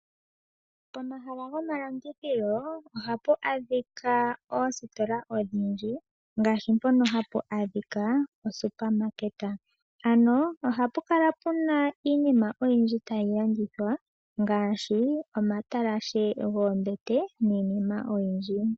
Pomahala gomalandithilo ohapa adhika oositola odhindji ngaashi oSuperMarket. Ohapa kala pena iinima oyindji tayi landithwa ngaashi omatalashe goombete niinima oyindji.